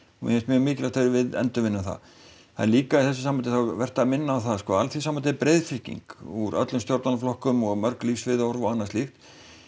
mér finnst mjög mikilvægt að við endurvinnum það það er líka í þessu sambandi vert að minna á það að Alþýðusambandið er breiðfylking úr öllum stjórnmálaflokkum og mörg lífsviðhorf og annað slíkt